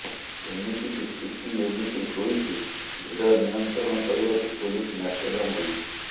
ଏମିତିକି ସ୍ଥିତି ଏମିତି ହୋଇଛି ଭିଡ଼ ନିୟନ୍ତ୍ରଣ କରିବାକୁ ପୋଲିସ ନାକେଦମ ହୋଇଛି